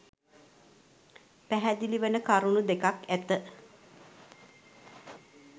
පැහැදිලිවන කරුණු දෙකක් ඇත